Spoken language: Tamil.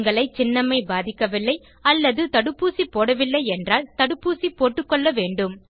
உங்களை சின்னம்மை பாதிக்கவில்லை அல்லது தடுப்பூசி போடவில்லை எனில் தடுப்பூசி போட்டுக்கொள்ள வேண்டும்